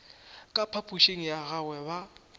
ka phapošing ya gagwe ga